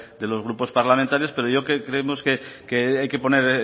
de los grupos parlamentarios pero creemos que hay que poner